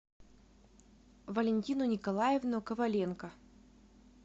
валентину николаевну коваленко